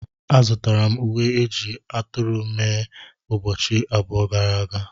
Azụtara m uwe eji ajị aturu mee ụbọchị abụọ gara aga.